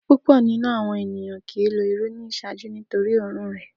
Pupọ ninu awọn eniyan kii lo iru ni iṣaaju nitori oorun rẹ.